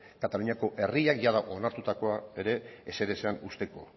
kataluniako herriak jada onartutakoa ere ezer ezean uzteko